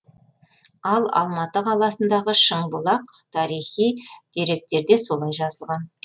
ал алматы қаласындағы шыңбұлақ тарихи деректерде солай жазылған